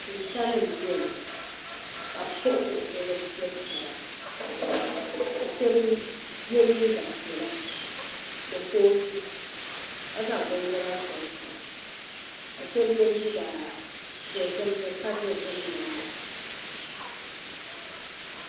Shintani n bɛni ka bi kpuɣi kuɣusi ni bi fiɛbi taba ka shaba yɛ liiga piɛlla ni kootu ka zaŋ binyara sɔŋ sɔŋ ka shaba yɛ liiga dozim di pa dozim naayi .